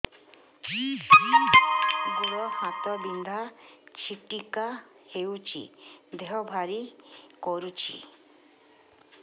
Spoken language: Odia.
ଗୁଡ଼ ହାତ ବିନ୍ଧା ଛିଟିକା ହଉଚି ଦେହ ଭାରି କରୁଚି